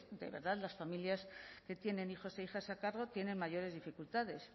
de verdad las familias que tienen hijos e hijas a cargo tienen mayores dificultades